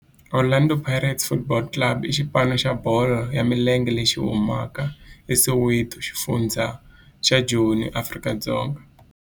Orlando Pirates Football Club i xipano xa bolo ya milenge lexi humaka eSoweto, xifundzha xa Joni, Afrika-Dzonga.